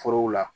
Forow la